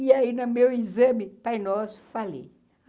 E aí, no meu exame, pai nosso, falei.